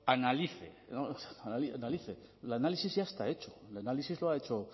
analice el análisis ya está hecho el análisis lo ha hecho